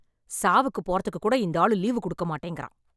சாவுக்கு போறதுக்கு கூட இந்த ஆளு லீவு கொடுக்க மாட்டேங்குறான்